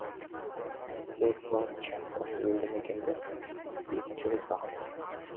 бек бачча осы елді мекенді екінші рет бағындырды